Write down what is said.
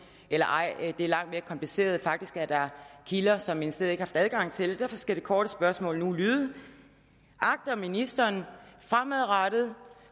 eller ej det er langt mere kompliceret faktisk er der kilder som ministeriet haft adgang til derfor skal det korte spørgsmål nu lyde agter ministeren fremadrettet